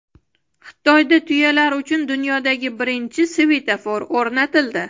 Xitoyda tuyalar uchun dunyodagi birinchi svetofor o‘rnatildi.